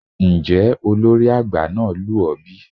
Njẹ olori agba naa lu ọ bi?